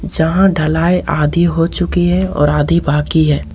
जहां ढलाई आधी हो चुकी है और आधी बाकी है।